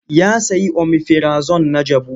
Ya sayi omifirazon na jabu.